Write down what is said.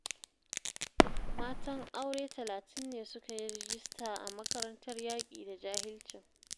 Matan aure talatin ne suka yi rajista a makarantar yaƙi da jahilcin